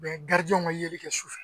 ka yeli kɛ sufɛ.